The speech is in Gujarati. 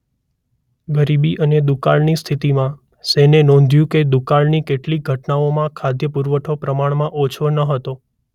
ગરીબી અને દુકાળની સ્થિતિમાં સેને નોંધ્યું કે દુકાળની કેટલીક ઘટનાઓમાં ખાદ્ય પુરવઠો પ્રમાણમાં ઓછો ન હતો.